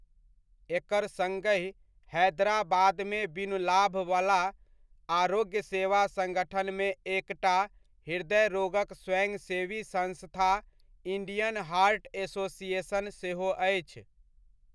एकर सङ्गहि हैदराबादमे बिनु लाभबला आरोग्य सेवा सङ्गठनमे एकटा हृदय रोगक स्वयंसेवी संस्था इण्डियन हार्ट एसोसिएशन सेहो अछि।